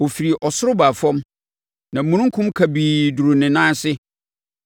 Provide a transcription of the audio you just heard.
Ɔfirii ɔsoro baa fam; na omununkum kabii duruu ne nan ase.